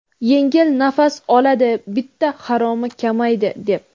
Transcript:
Yengil nafas oladi bitta haromi kamaydi, deb.